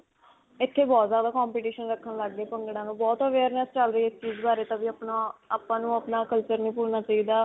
ਇੱਥੇ ਬਹੁਤ ਜਿਆਦਾ competition ਰੱਖਣ ਲਗ ਗਏ ਭੰਗੜਿਆਂ ਦਾ ਬਹੁਤ awareness ਚਲ ਰਹੀ ਇਸ ਚੀਜ਼ ਬਾਰੇ ਤਾ ਵੀ ਅਪਣਾ, ਆਪਾਂ ਨੂੰ ਅਪਣਾ culture ਨਹੀਂ ਭੁਲਣਾ ਚਾਹਿਦਾ.